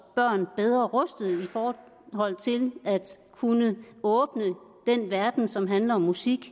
børn bedre rustede i forhold til at kunne åbne den verden som handler om musik